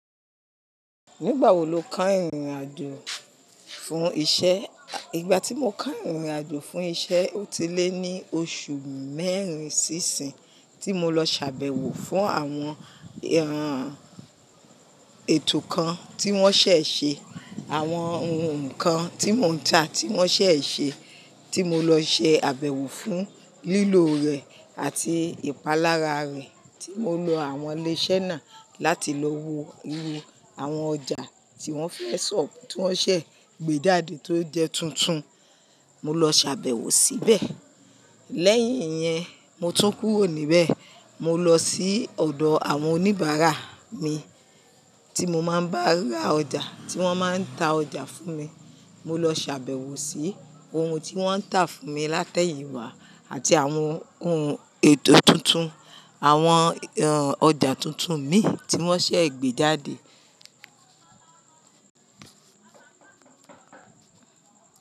Nígbà wo lo keyin ìrìn àjò fún iṣẹ́? Ìgbà tí mo keyin ìrìn àjò fún iṣẹ́, ó ti lé ní oṣù mẹ́rin sí ìsín, tí mọ lọ ṣàbẹ̀wò fún àwọn ẹran ètò kan tí wọ́n ṣẹ̀ ṣe, àwọn ohun kan tí mò ń ta tí wọ́n ṣẹ̀ ṣe, tí mo lọ ṣe àbẹ̀wò fún lílò rẹ̀ àti ìpalára rẹ̀, tí mọ lọ àwọn ilé iṣẹ́ náà láti lọ wo iru àwọn ọjà tí wọ́n fẹ́ sọ, tí wọ́n ṣẹ̀ gbe jáde tó jẹ́ tuntun. Mo lọ sàbẹ̀wò síbẹ̀. Lẹ́yìn yẹn, mo tún kúrò níbẹ̀. Mo lọ sí ọ̀dọ̀ àwọn oníbàárà mi tí mo máa ń bá ra ọjà, tí wọ́n máa ń ta ọjà fún mi. Mo lọ ṣàbẹ̀wò sí ohun tí wọ́n ń tà fún mi látẹ̀yìnwá àti àwọn ohun ètò tuntun, àwọn ọjà tuntun mí tí wọ́n ṣẹ̀ gbé jáde.